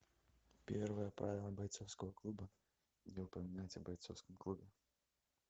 первое правило бойцовского клуба не упоминать о бойцовском клубе